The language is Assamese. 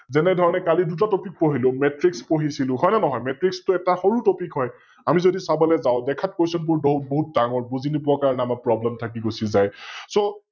যেনে ধৰণে কালি দুটা Topic পঢিলো Matrix পঢিছিলো, হয় নে নহয়? Matrix টো এটা সৰু Topic হয় আমি যদি চাবলৈ যাও, দেখাত Question বোৰ বহুত ডাঙৰ, বুজি নোপোৱা কাৰনে আমাৰ Problem থাকি গুচি যায় । So